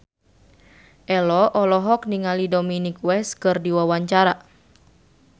Ello olohok ningali Dominic West keur diwawancara